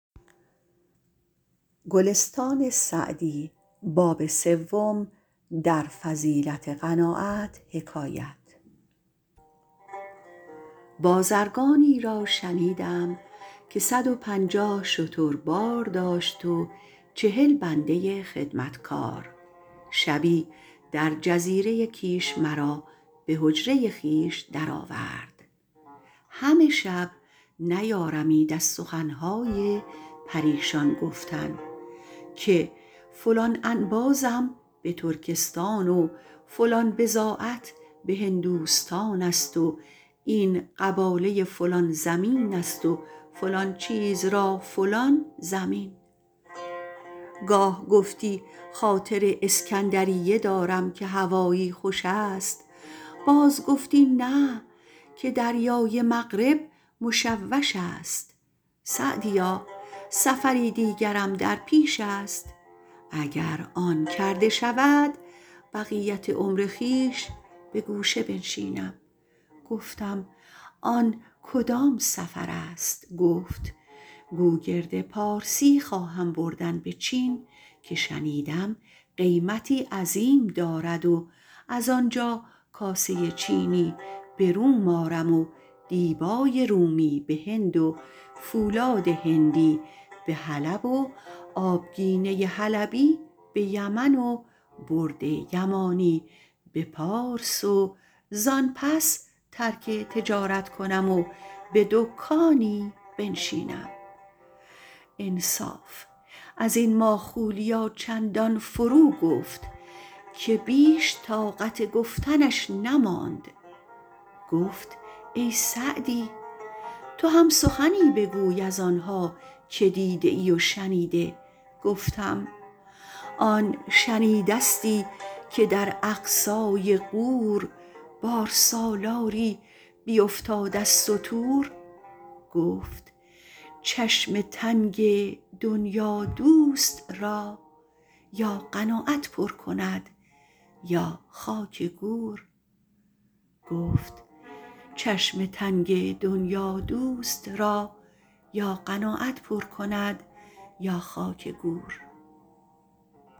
بازرگانی را شنیدم که صد و پنجاه شتر بار داشت و چهل بنده خدمتکار شبی در جزیره کیش مرا به حجره خویش در آورد همه شب نیارمید از سخن های پریشان گفتن که فلان انبازم به ترکستان و فلان بضاعت به هندوستان است و این قباله فلان زمین است و فلان چیز را فلان ضمین گاه گفتی خاطر اسکندریه دارم که هوایی خوش است باز گفتی نه که دریای مغرب مشوش است سعدیا سفری دیگرم در پیش است اگر آن کرده شود بقیت عمر خویش به گوشه بنشینم گفتم آن کدام سفر است گفت گوگرد پارسی خواهم بردن به چین که شنیدم قیمتی عظیم دارد و از آنجا کاسه چینی به روم آرم و دیبای رومی به هند و فولاد هندی به حلب و آبگینه حلبی به یمن و برد یمانی به پارس و زآن پس ترک تجارت کنم و به دکانی بنشینم انصاف از این ماخولیا چندان فرو گفت که بیش طاقت گفتنش نماند گفت ای سعدی تو هم سخنی بگوی از آن ها که دیده ای و شنیده گفتم آن شنیدستی که در اقصای غور بارسالاری بیفتاد از ستور گفت چشم تنگ دنیادوست را یا قناعت پر کند یا خاک گور